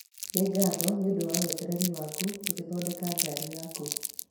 Nĩ ngatho nĩ ũndũ wa wetereri waku tũgĩthondeka ngaari yaku.